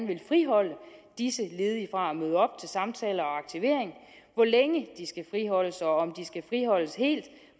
vil friholde disse ledige fra at møde op til samtale og aktivering hvor længe de skal friholdes og om de skal friholdes helt